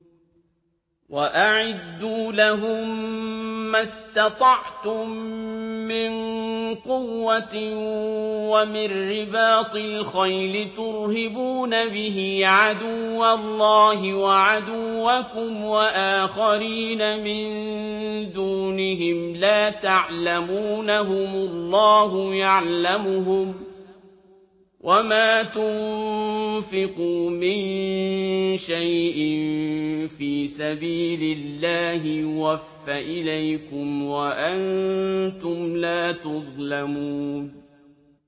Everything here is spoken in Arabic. وَأَعِدُّوا لَهُم مَّا اسْتَطَعْتُم مِّن قُوَّةٍ وَمِن رِّبَاطِ الْخَيْلِ تُرْهِبُونَ بِهِ عَدُوَّ اللَّهِ وَعَدُوَّكُمْ وَآخَرِينَ مِن دُونِهِمْ لَا تَعْلَمُونَهُمُ اللَّهُ يَعْلَمُهُمْ ۚ وَمَا تُنفِقُوا مِن شَيْءٍ فِي سَبِيلِ اللَّهِ يُوَفَّ إِلَيْكُمْ وَأَنتُمْ لَا تُظْلَمُونَ